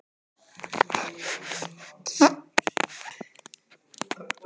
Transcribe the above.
En hvernig upplifði hann fyrstu andartökin eftir slysið?